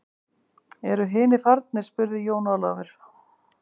Eru hinir farnir spurði Jón Ólafur.